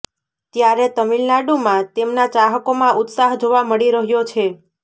ત્યારે તામિલનાડુમાં તેમના ચાહકોમાં ઉત્સાહ જોવા મળી રહ્યો છે